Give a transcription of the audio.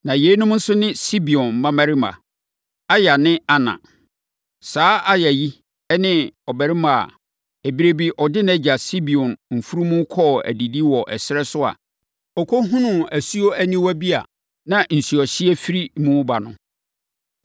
Na yeinom ne Sibeon mmammarima: Aya ne Ana. Saa Ana yi ne abarimaa a, ɛberɛ bi ɔde nʼagya Sibeon mfunumu kɔɔ adidi wɔ ɛserɛ no so a ɔkɔhunuu asuo aniwa bi a na nsuohyeɛ firi mu ba no.